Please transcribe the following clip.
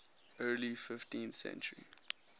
early fifteenth century